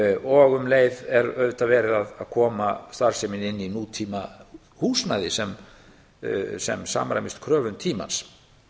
og um leið er auðvitað verið að koma starfseminni inn í tíma húsnæði sem samræmist kröfum tímans